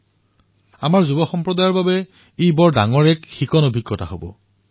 বিশেষকৈ যুৱপ্ৰজন্মৰ বাবে এই এক বৃহৎ শিক্ষণ অভিজ্ঞতা হব পাৰে